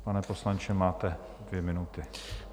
Pane poslanče, máte dvě minuty.